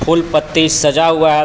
फूल पत्ती सजा हुआ हैं स --